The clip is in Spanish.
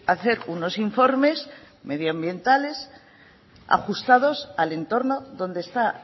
hacer unos informes medioambientales ajustados al entorno donde está